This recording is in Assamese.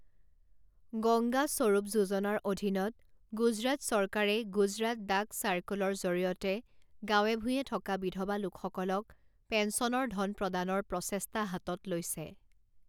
গংগা স্বৰূপ যোজনাৰ অধীনত গুজৰাট চৰকাৰে গুজৰাট ডাক চাৰ্কোলৰ জৰিয়তে গাঁৱে ভূঁঞে থকা বিধবা লোকসকলক পেন্সনৰ ধন প্ৰদানৰ প্ৰচেষ্টা হাতত লৈছে।